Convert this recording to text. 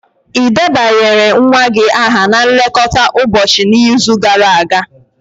Ị debanyere nwa gị aha na nlekọta ụbọchị n'izu gara aga?